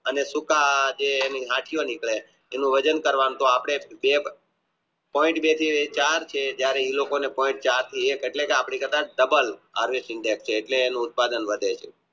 અને સૂકા જે એના નસયો નિકરે એનું વજન કરવાનું અપને બે એટલે એનું ઉત્પાદન વધે છે